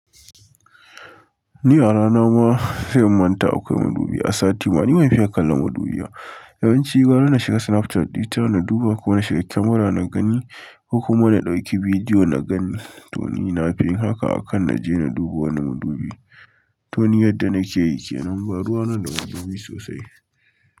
Ni a rana ma, sai in manta akwai madubi. A sati ma, ni ban fiya kallon madubi ba. Yawanci gwara na shiga Snapchat ɗita na duba, ko na shiga kyamara na gani, ko kuma na ɗauki bidiyo na gan ni. To ni na fi yin haka akan na je na duba wani madubi. To ni yadda na ke yi kenan, ba ruwa na da wani madubi sosai.